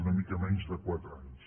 una mica menys de quatre anys